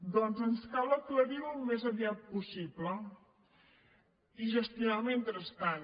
doncs ens cal aclarir ho al més aviat possible i gestionar el mentrestant